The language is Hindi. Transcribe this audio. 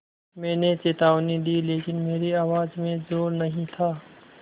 मैंने चेतावनी दी लेकिन मेरी आवाज़ में ज़ोर नहीं था